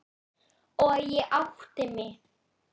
Og ég átti mig.